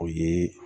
O ye